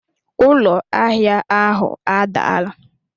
Ụlọ ahịa ahụ adaala